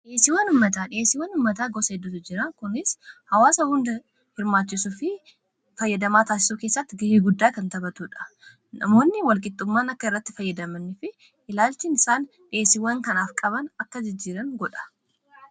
Dhiyeessiiwwan ummataa, dhiyeessiiwwan ummataa gosa heddutu jira kunis hawaasa hunda hirmaachisuu fi fayyadamaa taasisuu keessatti ga'ii guddaa kan taphatuudha namoonni wal qixxummaan akka irratti fayyadamani fi ilaalchii isaan dhiyeesiiwwan kanaaf qaban akka jijjiiramu godha.